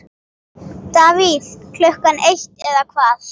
Davíð Klukkan eitt eða hvað?